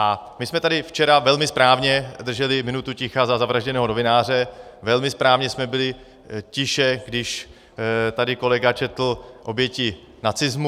A my jsme tady včera velmi správně drželi minutu ticha za zavražděného novináře, velmi správně jsme byli tiše, když tady kolega četl oběti nacismu.